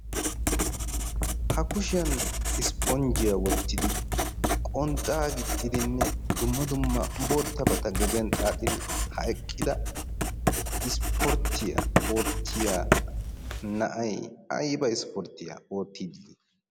ha kushiyan ispponjjiyaa wottidi qonxxaa gixxidinne dumma dumma boottabata gediyan xaaxidi ha eqqida ispporttiyaa oottiya na'ay aiba ispporttiyaa oottiiddii?